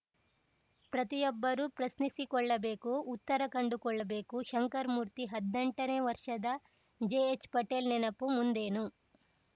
ಪ್ರತಿಯೊಬ್ಬರೂ ಪ್ರಶ್ನಿಸಿಕೊಳ್ಳಬೇಕು ಉತ್ತರ ಕಂಡುಕೊಳ್ಳಬೇಕು ಶಂಕರಮೂರ್ತಿ ಹದ್ನೆಂಟನೇ ವರ್ಷದ ಜೆಎಚ್‌ಪಟೇಲ್‌ ನೆನಪು ಮುಂದೇನು